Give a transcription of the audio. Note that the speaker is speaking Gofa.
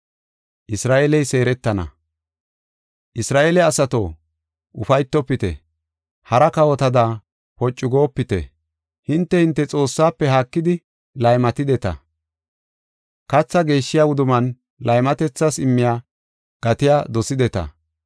Isra7eele asato, ufaytofite! Hara kawotada poocu goopite! Hinte hinte Xoossaafe haakidi laymatideta; kathaa geeshshiya wudumman laymatethas immiya gatiya dosideta.